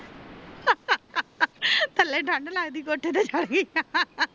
ਹਾਂ ਹਾਂ ਹਾਂ ਹਾਂ ਥੱਲੇ ਠੰਡ ਲੱਗਦਾ ਆ ਤਾ ਕੋਠੇ ਆਗੀ